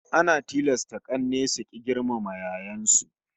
Ana tilasta k'anne su rika girmama yayyen su